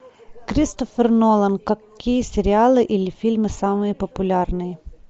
кристофер нолан какие сериалы или фильмы самые популярные